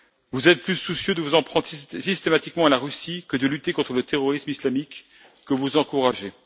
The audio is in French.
Vous êtes plus soucieux de vous en prendre systématiquement à la Russie que de lutter contre le terrorisme islamique, que vous encouragez.